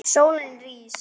Sólin rís.